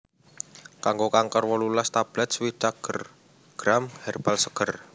Kanggo kanker wolulas tablet swidak gr herbal seger